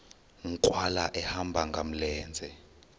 nkqwala ehamba ngamlenze